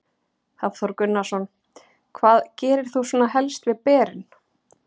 Hafþór Gunnarsson: Hvað gerir þú svona helst við berin?